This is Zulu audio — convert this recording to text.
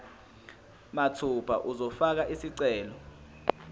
mathupha uzofaka isicelo